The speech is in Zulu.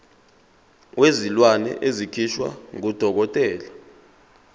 wezilwane esikhishwa ngudokotela